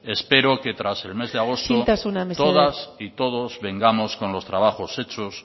espero que isiltasuna mesedez tras el mes de agosto todas y todos vengamos con los trabajos hechos